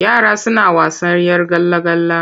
Yara suna wasan 'yar gala-gala.